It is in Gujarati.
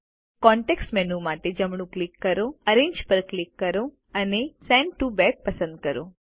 કોન્ટેક્ષ મેનૂ માટે માટે જમણું ક્લિક કરો એરેન્જ પર ક્લિક કરો અને સેન્ડ ટીઓ બેક પસંદ કરો